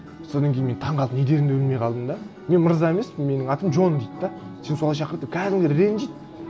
содан кейін мен таңғалып не дерімді білмей қалдым да мен мырза емеспін менің атым джон дейді де сен солай шақыр деп кәдімгідей ренжиді